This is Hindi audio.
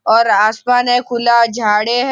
और आसमान है खुला झाडे है।